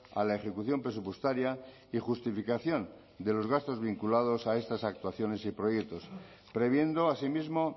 a la ejecución presupuestaria y justificación de los gastos vinculados a estas actuaciones y proyectos previendo asimismo